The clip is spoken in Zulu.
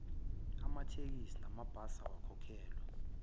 amatekisi namabhasi awakhokhelwa